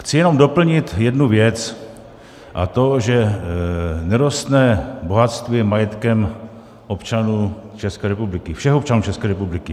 Chci jenom doplnit jednu věc, a to že nerostné bohatství je majetkem občanů České republiky, všech občanů České republiky.